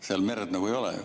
Seal merd nagu ei ole.